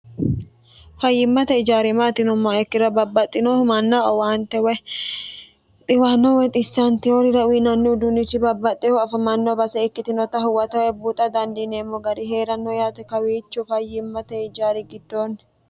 fayyimmate ijaari maati yinumoha ikkiro babbaxxino manna owaante woy dhiwanno woy xisaniteworira uyinannihu uduunichi babbaxxeehu afamanno base ikkitinota huwatawe buxa dandiineemmo gari heeranno yaate kawiicho fayyimmate ijaari giddoonni